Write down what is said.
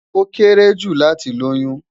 Ó kéré jù láti lóyún